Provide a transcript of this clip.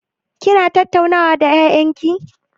Kina tattaunawa da ƴaƴan ki?